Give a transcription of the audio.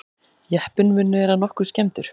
Jeppinn mun vera nokkuð skemmdur